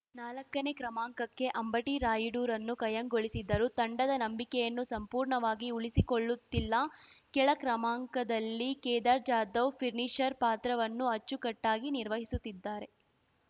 ನಾಲಕ್ಕನೇ ಕ್ರಮಾಂಕಕ್ಕೆ ಅಂಬಟಿ ರಾಯುಡುರನ್ನು ಕಾಯಂಗೊಳಿಸಿದ್ದರೂ ತಂಡದ ನಂಬಿಕೆಯನ್ನು ಸಂಪೂರ್ಣವಾಗಿ ಉಳಿಸಿಕೊಳ್ಳುತ್ತಿಲ್ಲ ಕೆಳ ಕ್ರಮಾಂಕದಲ್ಲಿ ಕೇದಾರ್‌ ಜಾಧವ್‌ ಫಿನಿಶರ್‌ ಪಾತ್ರವನ್ನು ಅಚ್ಚುಕಟ್ಟಾಗಿ ನಿರ್ವಹಿಸುತ್ತಿದ್ದಾರೆ